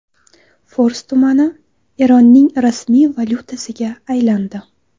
Fors tumani Eronning rasmiy valyutasiga aylandi .